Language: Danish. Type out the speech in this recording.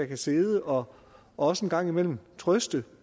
kan sidde og også en gang imellem trøste